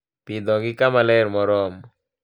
Pidhogi kama ler moromo